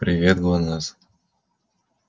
привет гланасс